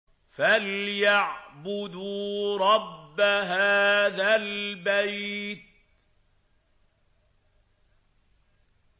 فَلْيَعْبُدُوا رَبَّ هَٰذَا الْبَيْتِ